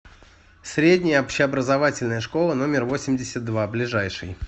средняя общеобразовательная школа номер восемьдесят два ближайший